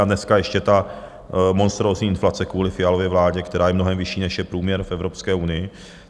A dneska ještě ta monstrózní inflace kvůli Fialově vládě, která je mnohem vyšší, než je průměr v Evropské unii.